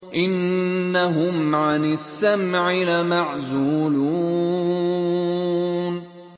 إِنَّهُمْ عَنِ السَّمْعِ لَمَعْزُولُونَ